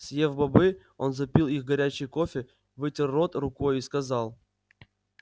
съев бобы он запил их горячим кофе вытер рот рукой и сказал